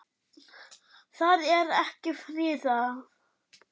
Það er ekki friðað.